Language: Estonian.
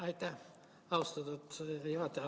Aitäh, austatud istungi juhataja!